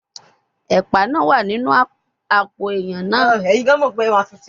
Epa naa wa ninu apo eiyan naa